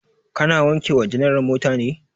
Ka na wanke wa general mota ne?